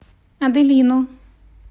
аделину